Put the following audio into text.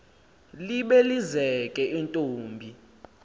libe lizeke intombi